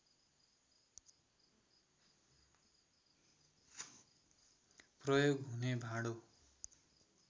प्रयोग हुने भाँडो